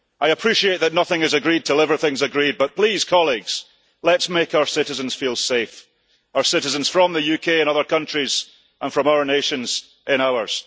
I appreciate that nothing is agreed until everything is agreed but please, colleagues, let us make our citizens feel safe, our citizens from the UK in other countries, and citizens from other nations in ours.